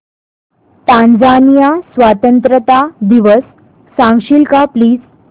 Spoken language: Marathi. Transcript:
टांझानिया स्वतंत्रता दिवस सांगशील का प्लीज